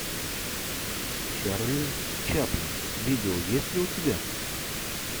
чарли чаплин видео есть ли у тебя